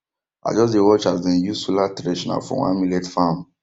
i just dey watch as dem use solar thresher for one millet farm